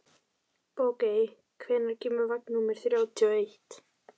Bogey, hvenær kemur vagn númer þrjátíu og eitt?